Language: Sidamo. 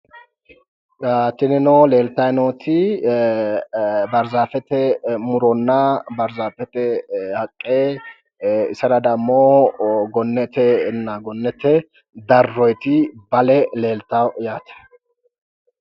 Tinino leeltayi nooti baarzaafete muronna baarzaafete haqqe isera dammo gonnetenna gonnete darroyiiti bale leeltawo yaate.